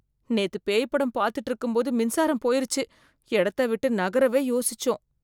நேத்து பேய் படம் பார்த்துட்டு இருக்கும் போது மின்சாரம் போயிருச்சு, இடத்த விட்டு நகரவே யோசிச்சோம்.